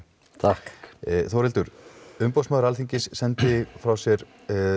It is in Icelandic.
Þórhildur Umboðsmaður Alþingis sendi frá sér